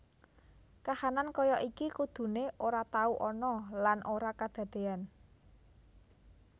Kahanan kaya iki kudune ora tau ana lan ora kadadeyan